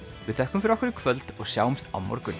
við þökkum fyrir okkur í kvöld og sjáumst á morgun